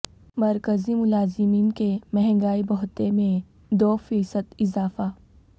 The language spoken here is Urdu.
مرکزی ملازمین کے مہنگائی بھتہ میں دو فیصد اضافہ